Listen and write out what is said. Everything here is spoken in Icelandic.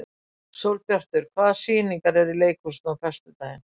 Sólbjartur, hvaða sýningar eru í leikhúsinu á föstudaginn?